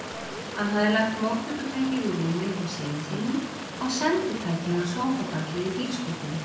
Hann hafði lagt móttökutækið við rúmið hjá syni sínum og senditækið á sófabakið í bílskúrnum.